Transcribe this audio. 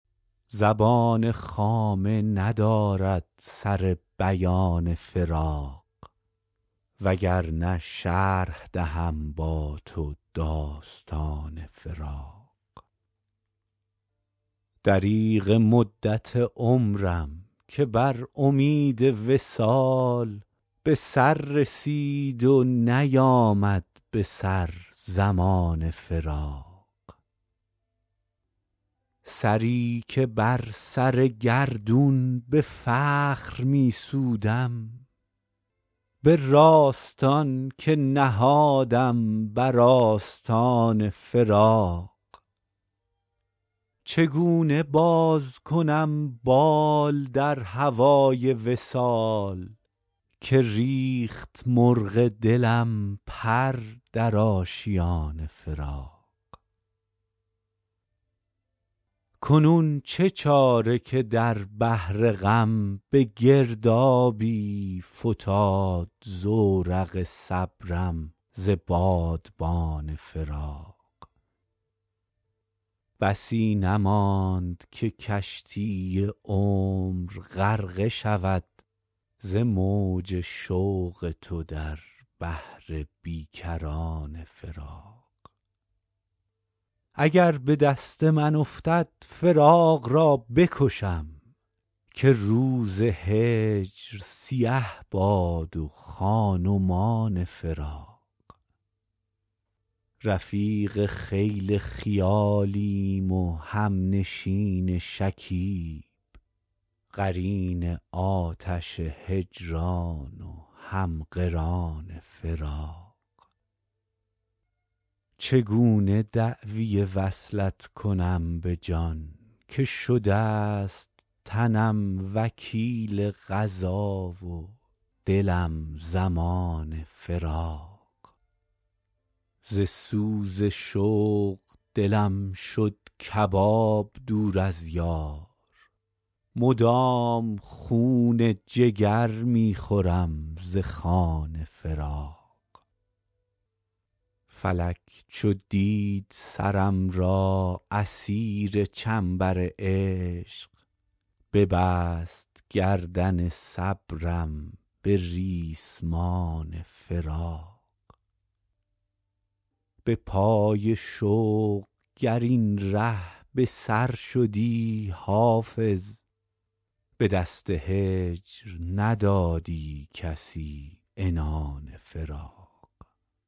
زبان خامه ندارد سر بیان فراق وگرنه شرح دهم با تو داستان فراق دریغ مدت عمرم که بر امید وصال به سر رسید و نیامد به سر زمان فراق سری که بر سر گردون به فخر می سودم به راستان که نهادم بر آستان فراق چگونه باز کنم بال در هوای وصال که ریخت مرغ دلم پر در آشیان فراق کنون چه چاره که در بحر غم به گردابی فتاد زورق صبرم ز بادبان فراق بسی نماند که کشتی عمر غرقه شود ز موج شوق تو در بحر بی کران فراق اگر به دست من افتد فراق را بکشم که روز هجر سیه باد و خان و مان فراق رفیق خیل خیالیم و همنشین شکیب قرین آتش هجران و هم قران فراق چگونه دعوی وصلت کنم به جان که شده ست تنم وکیل قضا و دلم ضمان فراق ز سوز شوق دلم شد کباب دور از یار مدام خون جگر می خورم ز خوان فراق فلک چو دید سرم را اسیر چنبر عشق ببست گردن صبرم به ریسمان فراق به پای شوق گر این ره به سر شدی حافظ به دست هجر ندادی کسی عنان فراق